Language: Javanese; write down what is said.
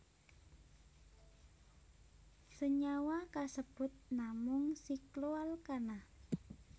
Senyawa kasebut namung sikloalkana